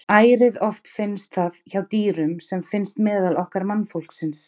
Ærið oft finnst það hjá dýrum sem finnst meðal okkar mannfólksins.